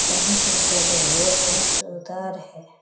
कहीं का जगह यह बहुत सुदार है।